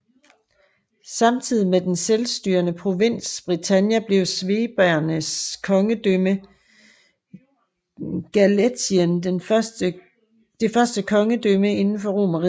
Samtidig med den selvstyrende provins Britannia blev svebernes kongedømme i Gallæcien det første kongedømme inden for Romerriget